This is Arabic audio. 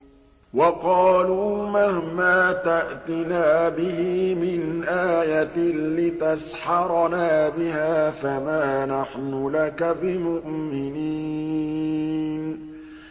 وَقَالُوا مَهْمَا تَأْتِنَا بِهِ مِنْ آيَةٍ لِّتَسْحَرَنَا بِهَا فَمَا نَحْنُ لَكَ بِمُؤْمِنِينَ